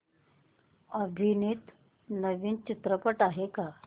अभिनीत नवीन चित्रपट आहे का